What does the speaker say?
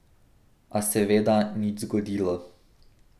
A seveda nič zgodilo.